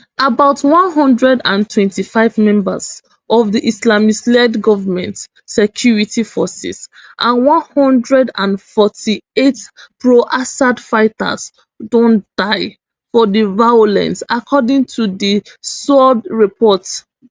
about one hundred and twenty-five members of di islamistled goment security forces and one hundred and forty-eight proassad fighters don die for di violence according to di sohr report